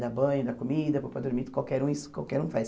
Dá banho, dá comida, põe para dormir, qualquer um isso qualquer um faz.